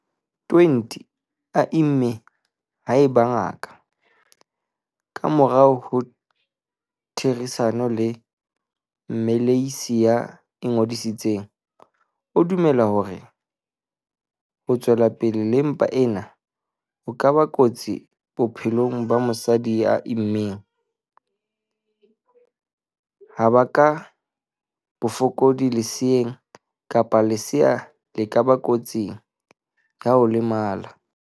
20 a imme haeba ngaka, ka morao ho therisano le mmelehisi ya ingodisitseng, e dumela hore ho tswela pele le mpa ena ho ka ba kotsi bophelong ba mosadi ya immeng, ha baka bofokodi leseeng kapa lesea la ba kotsing ya ho lemala.